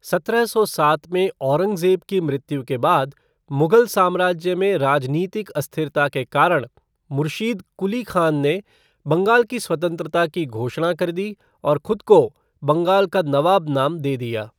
सत्रह सौ सात में औरंगज़ेब की मृत्यु के बाद मुग़ल साम्राज्य में राजनीतिक अस्थिरता के कारण मुर्शीद कुली ख़ान ने बंगाल की स्वतंत्रता की घोषणा कर दी और खुद को बंगाल का नवाब नाम दे दिया।